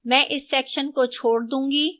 मैं इस section को छोड़ दूंगी